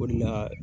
O de la